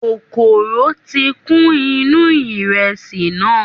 Kòkòrò tí kún inú ìrẹsì náà.